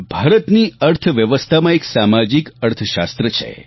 ભારતની અર્થવ્યવસ્થામાં એક સામાજિક અર્થશાસ્ત્ર છે